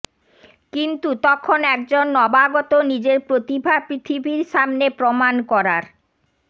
কিন্তু তখন একজন নবাগত নিজের প্রতিভা পৃথিবীর সামনে প্রমাণ করার